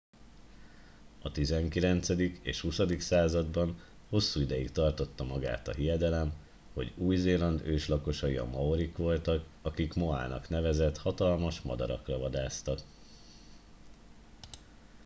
a 19. és 20. században hosszú ideig tartotta magát a hiedelem hogy új zéland őslakosai a maorik voltak akik moának nevezett hatalmas madarakra vadásztak